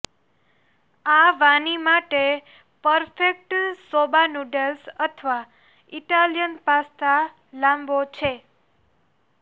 આ વાની માટે પરફેક્ટ સોબા નૂડલ્સ અથવા ઇટાલીયન પાસ્તા લાંબો છે